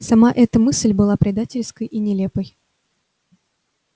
сама эта мысль была предательской и нелепой